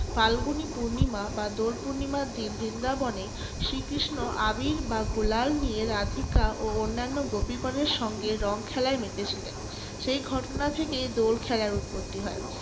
ফাল্গুনী পূর্ণিমা বা দোল পূর্ণিমার দিন বৃন্দাবনে শ্রীকৃষ্ণ আবীর বা গুলাল নিয়ে রাধিকা ও অন্যান্য গোপীগণের সঙ্গে রং খেলায় মেতেছিলেন । সেই ঘটনা থেকে দোল খেলার উৎপত্তি হয়।